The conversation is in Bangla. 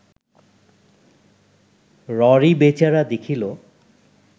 ররী বেচারা দেখিল